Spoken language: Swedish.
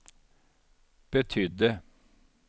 betydde